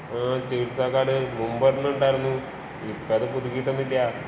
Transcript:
ആഹ് ചികിത്സാ കാര്‍ഡ് മുമ്പോരെണ്ണം ഉണ്ടായിരുന്നൂ.ഇപ്പത് പുതുക്കീട്ടൊന്നുമില്ലാ.